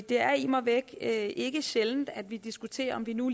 det er immer væk ikke sjældent at vi diskuterer om vi nu